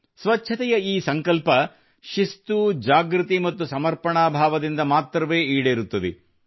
ಸ್ವಚ್ಛತೆಯ ಈ ಸಂಕಲ್ಪ ಶಿಸ್ತು ಜಾಗೃತಿ ಮತ್ತು ಸಮರ್ಪಣಾ ಭಾವದಿಂದ ಮಾತ್ರವೇ ಈಡೇರುತ್ತದೆ